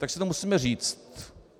Tak si to musíme říct.